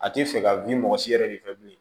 A tɛ fɛ ka bin mɔgɔ si yɛrɛ de fɛ bilen